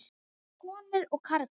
Konur og karlar.